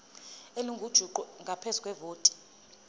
elingujuqu ngaphezu kwevoti